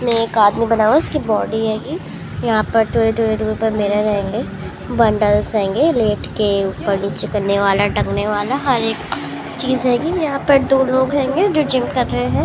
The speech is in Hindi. इसमे एक आदमी बना हुआ है। इसकी बॉडी हेंगी। ये यहा पर थोडे थोडे दूर पर मिरर हेंगे। बंडल्स हेंगे लेट के ऊपर नीचे करने वाला टंगनेवाला हर एक चीज हेंगी। ये यहा पर दो लोग हेंगे जो जिम कर रहे है।